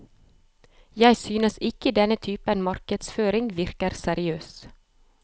Jeg synes ikke denne typen markedsføring virker seriøs.